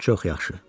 Çox yaxşı.